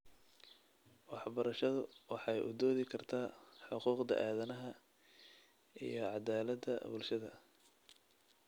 Waxbarashadu waxay u doodi kartaa xuquuqda aadanaha iyo caddaaladda bulshada.